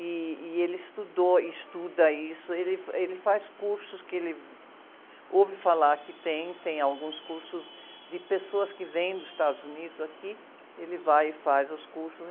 E, e ele estudou, estuda isso, ele, ele faz cursos que ele ouve falar que tem, e tem alguns cursos de pessoas que vêm dos Estados Unidos aqui, ele vai e faz os cursos.